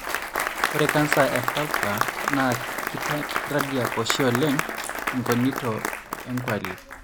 ore cancer e vulva na kitandiak oshi oleng engonito en -gwali